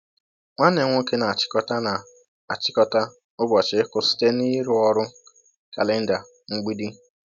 Nwanne m nwoke na-achịkọta na-achịkọta ụbọchị ịkụ site n’ịrụ ọrụ kalenda mgbidi.”